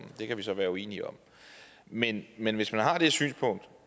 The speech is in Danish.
det kan vi så være uenige om men men hvis man har det synspunkt